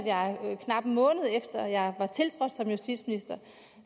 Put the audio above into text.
knap en måned efter jeg var tiltrådt som justitsminister